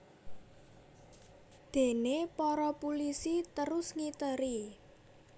Déné para pulisi terus ngiteri